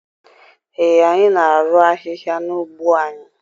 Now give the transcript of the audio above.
Ee, anyị na-arụ ahịhịa n'ugbo anyị.